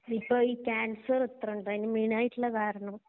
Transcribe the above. ഇപ്പോ ഈ ക്യാൻസർ എത്ര ഉണ്ട് അതിനു മേയിനായിട്ടുള്ള കാരണം